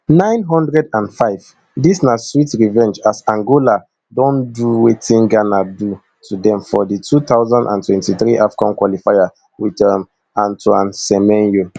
nine hundred and five dis na sweet revenge as angola don do wetin ghana do to dem for di two thousand and twenty-three afcon qualifier wit um antoine semenyo